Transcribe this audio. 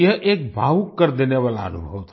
ये एक भावुक कर देने वाला अनुभव था